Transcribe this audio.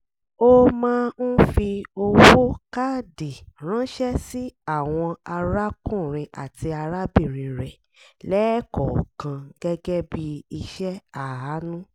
ó máa ń fi owó káàdì ránṣẹ́ sí àwọn arákùnrin àti arábìnrin rẹ̀ lẹ́ẹ̀kọ̀ọ̀kan gẹ́gẹ́ bí ìṣe àánú